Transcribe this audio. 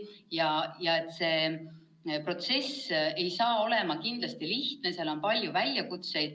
Kindlasti ei saa see protsess olema lihtne, seal on palju väljakutseid.